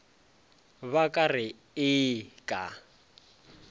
ba ka re ee ka